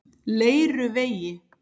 Leiruvegi